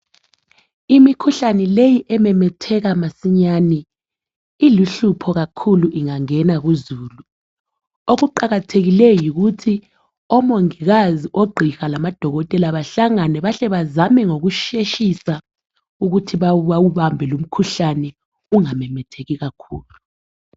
Imikhuhlane leyi ememetheka masinyane, iluhlupho kakhulu ingangena kuzulu. Okuqakathekileyo yikuthi omongikazi ogqiha lamadokotela bahlangane bahle bazame ngoku sheshisa ukuthi bawubambe lo umkhuhlane ungamemetheki kakhulu.